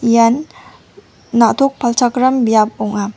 ian na·tok palchakram biap ong·a.